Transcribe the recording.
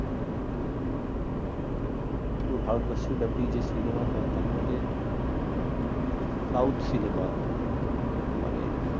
পুরো ভারতবর্ষ ব্যাপী যে cinema হয় তার মধ্যে south cinema মানে